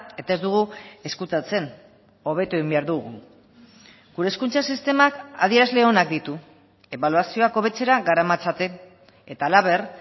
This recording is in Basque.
eta ez dugu ezkutatzen hobetu egin behar dugu gure hezkuntza sistemak adierazle onak ditu ebaluazioak hobetzera garamatzaten eta halaber